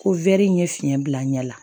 Ko in ye fiɲɛ bila ɲɛ la